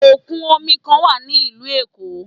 Òkun omi kan wà ní ìlú Èkó.